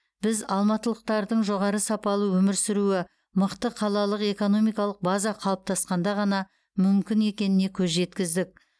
біз алматылықтардың жоғары сапалы өмір сүруі мықты қалалық экономикалық база қалыптасқанда ғана мүмкін екеніне көз жеткіздік